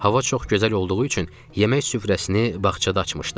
Hava çox gözəl olduğu üçün yemək süfrəsini bağçada açmışdıq.